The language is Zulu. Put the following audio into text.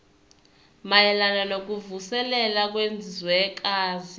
mayelana nokuvuselela kwezwekazi